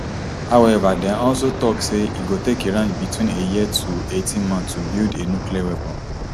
however dem also say e go take iran between a year to eighteen months to build a nuclear weapon